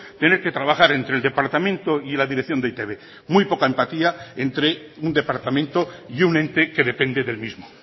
tener que trabajar entre el departamento y la dirección de e i te be muy poca empatía entre un departamento y un ente que depende del mismo